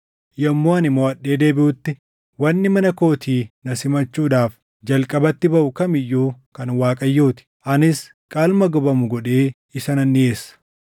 yommuu ani moʼadhee deebiʼutti wanni mana kootii na simachuudhaaf jalqabatti baʼuu kam iyyuu kan Waaqayyoo ti; anis qalma gubamu godhee isa nan dhiʼeessa.”